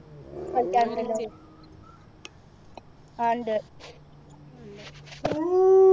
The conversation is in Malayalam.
കളിക്കാറുണ്ടല്ലോ ആ ഉണ്ട്